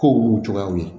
Kow b'u cogoyaw ye